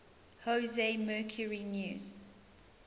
jose mercury news